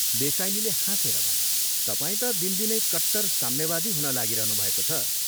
देसाईनीले हाँसेर भने, "तपाईं ता दिनदिनै कट्टर साम्यवादी हुन लागिरहनुभएको छ।